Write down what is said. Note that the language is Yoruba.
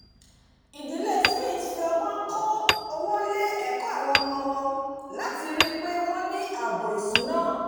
ìdílé smith fi ọgbọn kó owó lé ẹ̀kọ́ àwọn ọmọ won láti rìi pé wọ́n ní ààbò ìsúná